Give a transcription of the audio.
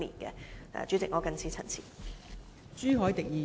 代理主席，我謹此陳辭。